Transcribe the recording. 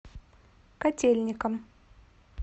котельникам